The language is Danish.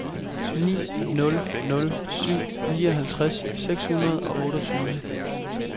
ni nul nul syv nioghalvtreds seks hundrede og otteogtyve